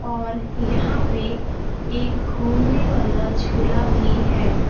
और यहां पे एक घूमने वाला झूला भी है।